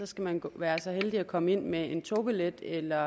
skal man være så heldig at komme ind med en togbillet eller